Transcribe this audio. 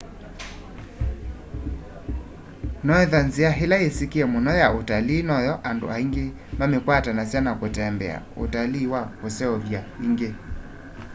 noethwa nzîa îla yîsîkîe mûno ya ûtalii noyo andû aingî mamîkwatanasya na kûtembea: ûtalii wa kûseûvya îngî